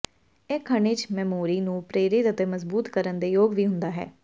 ਇਹ ਖਣਿਜ ਮੈਮੋਰੀ ਨੂੰ ਪ੍ਰੇਰਿਤ ਅਤੇ ਮਜ਼ਬੂਤ ਕਰਨ ਦੇ ਯੋਗ ਵੀ ਹੁੰਦਾ ਹੈ